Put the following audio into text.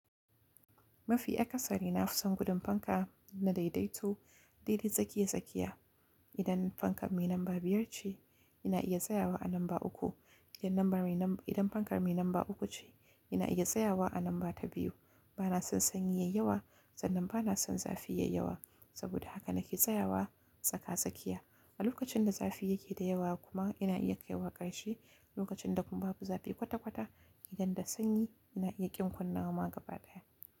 Mafi akasari na fisan gudun fanka na daidaito. Daidai tsakiya-tsakiya. Idan fankar mai namba biyar ce, ina iya tsayawa a namba uku. Idan lambar mai nam-- idan fankar mai namba uku ce, ina iya tsayawa a namba ta biyu. Bana son sanyi yayawa, sannan bana son zafi yayawa. Saboda haka nake tsayawa tsaka-tsakiya. A lokacin da zafi yake da yawa kuma ina iya kaiwa ƙarshe. Lokacin da kuma babu zafi kwata-kwata, idan da sanyi ina iya ƙin kunnawa ma gaba ɗaya.